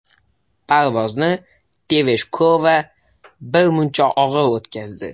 Parvozni Tereshkova birmuncha og‘ir o‘tkazdi.